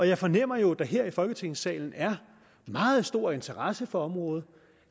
jeg fornemmer jo at der her i folketingssalen er meget stor interesse for området